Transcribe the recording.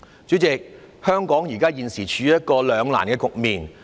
主席，香港現時處於一個兩難局面。